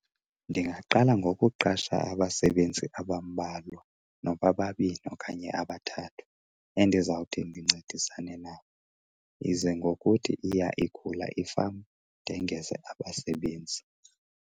Ndingaqala ngokuqasha abasebenzi abambalwa noba babini okanye abathathu endizawuthi ndincedisane nabo. Ize ngokuthi iya ikhula ifama ndongeze abasebenzi.